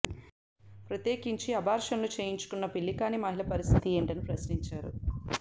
ప్రత్యేకించి అబార్షన్లు చేయించుకున్న పెళ్లి కాని మహిళల పరిస్థితి ఏంటని ప్రశ్నించారు